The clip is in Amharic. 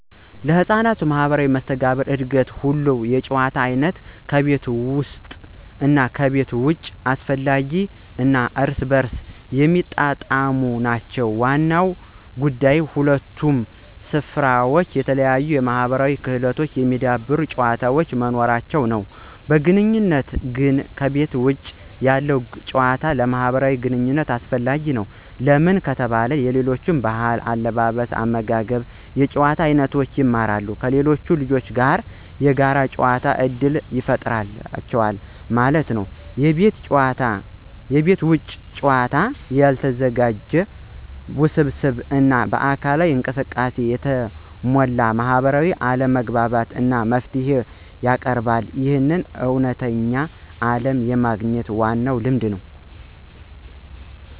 ለሕፃናት ማህበራዊ መስተጋብር እድገት ሁለቱም የጨዋታ አይነቶች (ከቤት ውስጥ እና ከቤት ውጭ) አስፈላጊ እና እርስ በርስ የሚጣጣሙ ናቸው። ዋናው ጉዳይ በሁለቱም ስፍራዎች የተለያዩ የማህበራዊ ክህሎቶችን የሚያዳብሩ ጨዋታዎች መኖራቸው ነው። በዋነኝነት ግን ከቤተ ውጭ ያለው ጭዋታ ለማህብራዊ ግንኝነት አሰፈላጊ ነው። ለምን ከተባለ የሌሎች ብህል አለባበስ አመጋገብ እና የጭዋታ አይኖቶችን ይማራሉ። ከሌሎች ልጆች ጋር የጋር ጨዋታ እድል ይፍጠሩላቸዋል ማለት ነው። የቤት ውጭ ጨዋታ ያልተዘጋጀ፣ ውስብስብ እና በአካላዊ እንቅስቃሴ የተሞላ ማህበራዊ አለመግባባትን እና መፍትሄን ያቀርባል። ይህ ለእውነተኛው ዓለም የሚያግኝ ዋና ልምድ ነው።